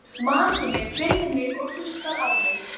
Maki minn virðir mig og hlustar á mig.